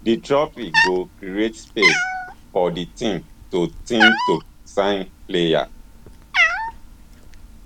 di trophy go create space for di team to team to sign players